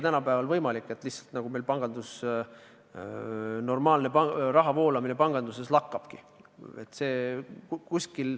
Tänapäeval ei ole võimalik, et normaalne raha voolamine meil panganduses lakkab.